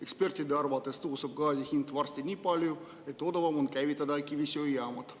Ekspertide arvates tõuseb gaasi hind varsti nii palju, et odavam on käivitada kivisöejaamad.